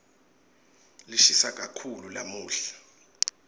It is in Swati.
lishisa kakhulu lamuhla